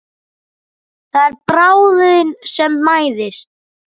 Það er bráðin sem mæðist.